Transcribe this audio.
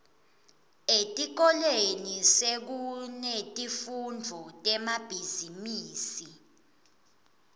etikolweni sekunetifundvo temabhizimisi